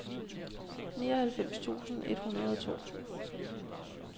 nioghalvfems tusind et hundrede og to